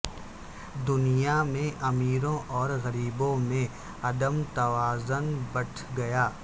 دنیا میں ا میروں اور غریبوں میں عدم توازن بڑھ گیا